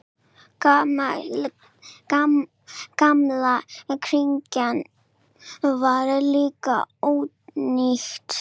Gamla kirkjan var líka ónýt.